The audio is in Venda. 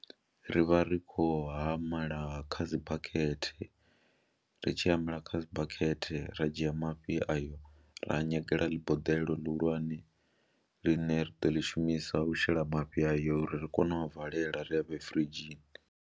Ri vha ri khou hamela kha dzi bakhethe, ri tshi humela kha dzi bakhethe ra dzhia mafhi ayo ra a nyagela ḽi boḓelo ḽihulwane ḽine ri ḓo ḽi shumisa u shela mafhi ayo uri ri kone u a valela ri a vhee firidzhini.